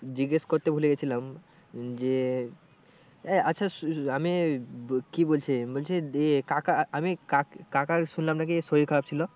জিজ্ঞেস করতে ভুলে গিয়েছিলাম উম যে আচ্ছা আমি কি বলছি বলছি যে কাকা কা কাকার শুনলাম নাকি শরীর খারাপ ছিল?